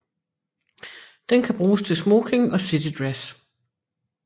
Den kan bruges til smoking og citydress